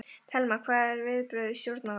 Telma: Hver eru viðbrögð stjórnvalda?